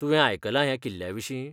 तुवें आयकलां ह्या किल्ल्याविशीं?